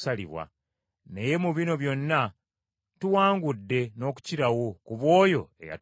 Naye mu bino byonna tuwangudde n’okukirawo ku bw’oyo eyatwagala.